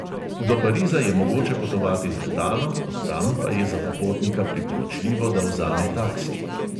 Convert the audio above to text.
Do pariza je mogoče potovati z letalom, od tam pa je za popotnika priporočljivo, da vzame taksi.